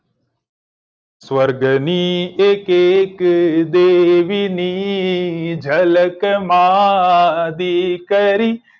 સ્વર્ગ ની એક એક દેવી ની ઝલક માં દીકરી